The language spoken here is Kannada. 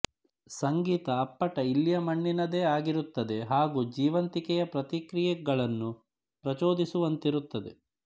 ಸಂಗೀತ ಅಪ್ಪಟ ಇಲ್ಲಿಯ ಮಣ್ಣಿನದೇ ಆಗಿರುತ್ತದೆ ಹಾಗೂ ಜೀವಂತಿಕೆಯ ಪ್ರತಿಕ್ರಿಯೆಗಳನ್ನು ಪ್ರಚೋದಿಸುವಂತಿರುತ್ತದೆ